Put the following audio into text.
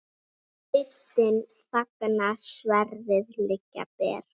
Sveitin þagnar, sverðin liggja ber.